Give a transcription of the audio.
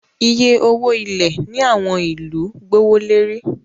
Iye owo ilẹ ni awọn ilu gbowolori